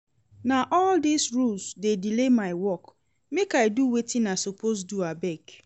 Na all dese rules dey delay my work, make I do wetin I suppose do abeg.